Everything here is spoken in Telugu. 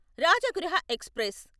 రాజగృహ ఎక్స్ప్రెస్